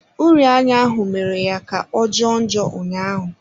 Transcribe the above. Uri anya ahụ mere ya kà ọ jọọ njọ ụnyaahụ.